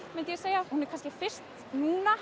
myndi ég segja hún er fyrst núna